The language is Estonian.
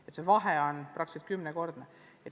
Nii et vahe on umbes kümnekordne.